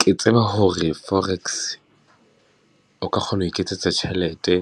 Ke tseba hore forex o ka kgona ho iketsetsa tjhelete